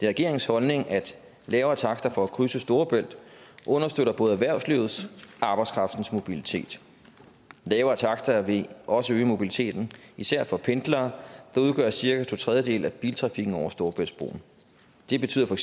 regeringens holdning at lavere takster for at krydse storebælt understøtter både erhvervslivets og arbejdskraftens mobilitet lavere takster vil også øge mobiliteten især for pendlere der udgør cirka to tredjedele af biltrafikken over storebæltsbroen det betyder